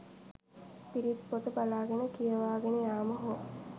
පිරිත් පොත බලා ගෙන කියවාගෙන යාම හෝ